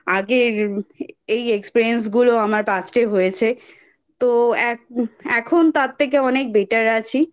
আগের এই Experience গুলো আমার Past এ হয়েছে তো এখন তার থেকে অনেক Better আছি।